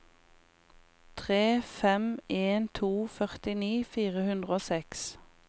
tre fem en to førtini fire hundre og seks